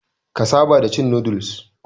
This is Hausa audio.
Ka saba da cin noodles.